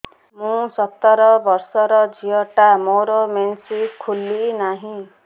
ମୁ ସତର ବର୍ଷର ଝିଅ ଟା ମୋର ମେନ୍ସେସ ଖୁଲି ନାହିଁ